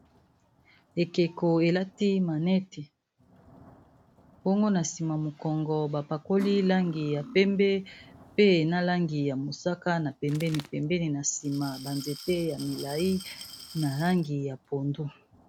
Ekeko elati maneti bongo na nsima mokongo bapakoli langi ya pembe pe na langi ya mosaka na pembeni pembeni na nsima ba nzete ya milai na langi ya pondu.